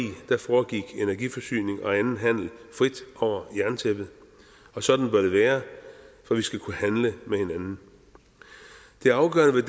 foregik energiforsyning og anden handel frit over jerntæppet og sådan bør det være for vi skal kunne handle med hinanden det afgørende ved